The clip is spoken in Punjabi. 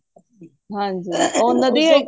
ਹਨਜੀ ਉਹ ਨਦੀ